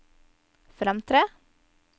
fremtre